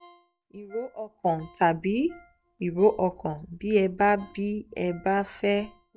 ìró ọkàn tàbí ìró ọkàn bí ẹ bá bí ẹ bá fẹ́ pe ó